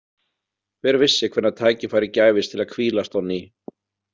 Hver vissi hvenær tækifæri gæfist til að hvílast á ný?